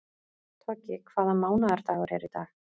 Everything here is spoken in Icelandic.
Toggi, hvaða mánaðardagur er í dag?